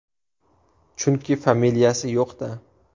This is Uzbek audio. Chunki familiyasi yo‘q-da!